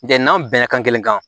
N'an bɛnna kan kelen kan